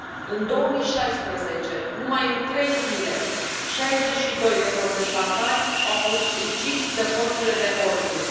În 2016, numai în trei zile, 62 de protestatari au fost uciși de forțele de ordine.